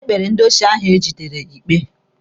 Ekpere ndị osi ahụ egidere ikpe.